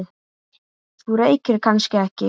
Þú reykir kannski ekki?